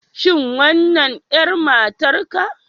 Shin wannan 'yar matarka